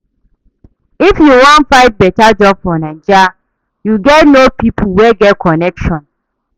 If you wan find beta job for Naija, you gats know pipo wey get connection.